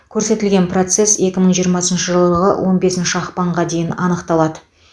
көрсетілген процесс екі мың жиырмасыншы жылғы он бесінші ақпанға дейін аңықталады